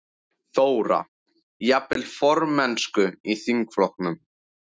Þóra: Jafnvel formennsku í þingflokknum?